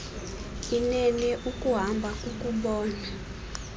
inene ukuhamba kukubona